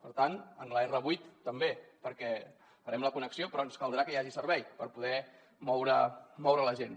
per tant en l’r8 també perquè hi farem la connexió però ens caldrà que hi hagi servei per poder moure la gent